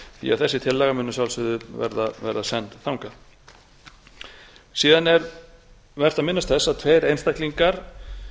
því þessi tillaga mun að sjálfsögðu verða send þangað síðan er vert að minnast þess að tveir einstaklingar